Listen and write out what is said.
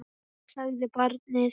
Já, sagði barnið.